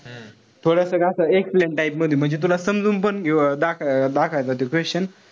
थोडासक असं excellent type मध्ये म्हणजे तुला समजून पण दाखवायचं दाखवायचं ते question.